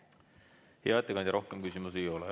Hea ettekandja, rohkem küsimusi ei ole.